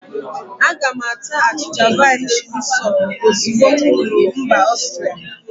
Aga m ata achịcha vina shinitsọl ozugbo m ruru mbà Ọstria.